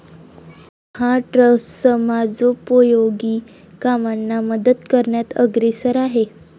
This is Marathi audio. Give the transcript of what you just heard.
हा ट्रस्ट समाजोपयोगी कामांना मदत करण्यात अग्रेसर आहे.